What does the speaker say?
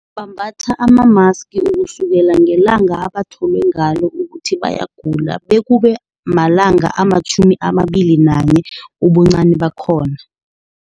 Bambatha amamaski, ukusukela ngelanga abatholwe ngalo ukuthi bayagula bekube malanga ama-21, ubuncani bakhona.